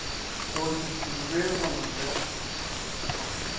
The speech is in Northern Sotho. go se tsube go ja